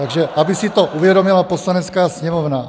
"Tak aby si to uvědomila Poslanecká sněmovna.